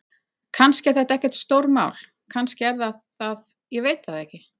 Kannski er þetta ekkert stórmál. kannski er það það, ég veit það ekki.